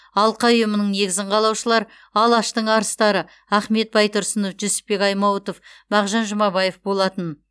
алқа ұйымының негізін қалаушылар алаштың арыстары ахмет байтұрсынов жүсіпбек аймауытов мағжан жұмабаев болатын